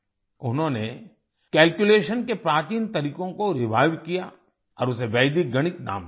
उन्होंने कैल्कुलेशन के प्राचीन तरीकों को रिवाइव किया और उसे वैदिक गणित नाम दिया